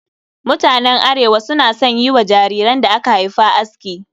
Mutanen Arewa suna son yi wa jariran da aka haifa aski